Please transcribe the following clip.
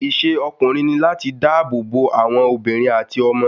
Isé ọkùnrin ní láti dá ààbò bo àwọn àwọn obìnrin àti ọmọ